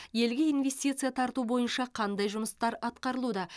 елге инвестиция тарту бойынша қандай жұмыстар атқарылуда